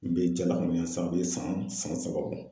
N be jaga san be san san saba bɔ